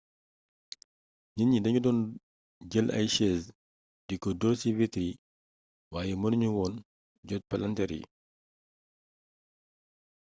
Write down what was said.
nit ñi dañu doon jël ay chaise di ko dóor ci vitre yi waaye mënu ñu woon jot palanteer yi